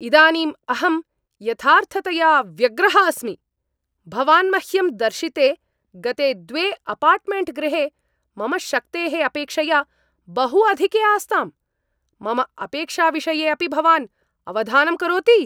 इदानीं अहम् यथार्थतया व्यग्रः अस्मि, भवान् मह्यं दर्शिते गते द्वे अपार्ट्मेण्ट्गृहे मम शक्तेः अपेक्षया बहु अधिके आस्ताम्, मम अपेक्षाविषये अपि भवान् अवधानं करोति?